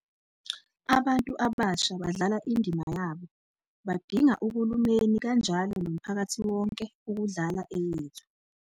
Abantu abasha badlala indima yabo, badinga uhulumeni, kanjalo nomphakathi wonke, ukudlala eyethu.